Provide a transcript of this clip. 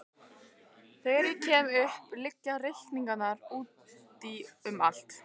Þegar ég kem upp liggja reikningar úti um allt.